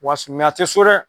Wase a te so dɛ!